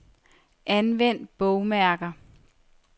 Anvend bogmærker.